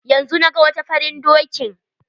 Yanzu naga wata faran dokin.